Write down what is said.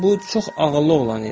Bu çox ağıllı oğlan idi.